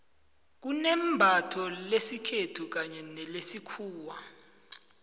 kunembatho lesikhethu kanye nelesikhuwa